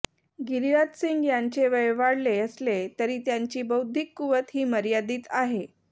गिरीराज सिंह यांचे वय वाढले असले तरी त्यांची बौद्धिक कुवत ही मर्यादित आहे